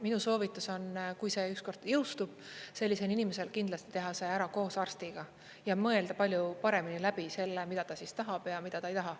Minu soovitus on, kui see ükskord jõustub, sellisel inimesel kindlasti teha see ära koos arstiga ja mõelda palju paremini läbi selle, mida ta tahab ja mida ta ei taha.